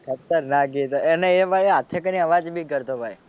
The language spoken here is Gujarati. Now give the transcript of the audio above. ખતરનાક એ તો અને એ તો હાથે કરી ને અવાજ બી કરતો ભાઈ.